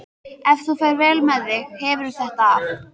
Ef þú ferð vel með þig hefurðu þetta af.